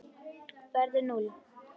verður núll.